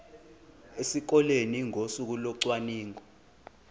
esikoleni ngosuku locwaningo